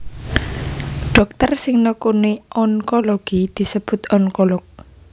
Dhokter sing nekuni onkologi disebut onkolog